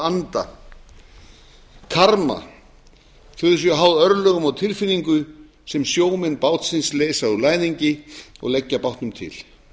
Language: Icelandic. anda karma þau séu háð örlögum og tilfinningu sem sjómenn bátsins leysa úr læðingi og leggja bátnum til